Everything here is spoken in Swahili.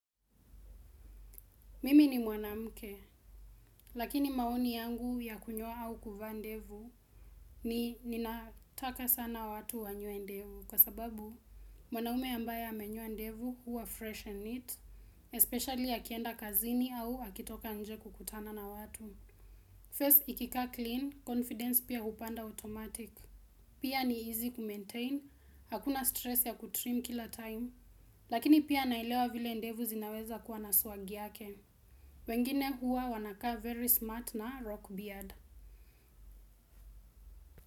Mimi ni mwanamke, lakini maoni yangu ya kunyoa au kuvaa ndevu ni ninataka sana watu wanyoe ndevu kwa sababu mwanaume ambaye amenyua ndevu huwa fresh and neat, especially akienda kazini au akitoka nje kukutana na watu. First, ikikaa clean, confidence pia upanda automatic. Pia ni easy kumaintain, hakuna stress ya kutrim kila time, lakini pia naelewa vile ndevu zinaweza kuwa na swag yake. Wengine huwa wanakaa very smart na rockbeard.